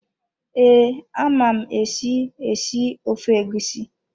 Ee, ama m esi, esi ofe egusi.